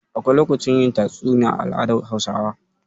Akwai lokacin yin tatsuniya a al'adar Hausawa.